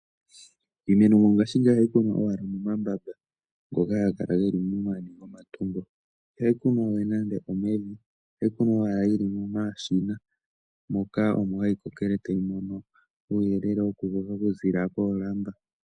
Iimeno ngashingeyi ohayi kunwa owala momambamba ngoka haga kala ge li momani gomatungo. Ihayi kunwa we nande omevi ohayi kunwa owala momashina moka omo hayi kokele tayi mono uuyelele wokukoka okuziilila koolamba.